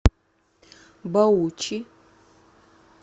баучи